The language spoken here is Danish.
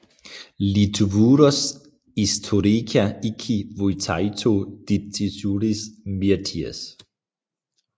Lietuvos istorija iki Vytauto Didžiojo mirties